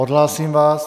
Odhlásím vás.